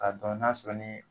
K'a n'a dɔn n'a sɔrɔ ni